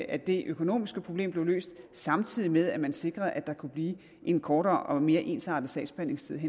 at det økonomiske problem blev løst samtidig med at man sikrede at der kunne blive en kortere og mere ensartet sagsbehandlingstid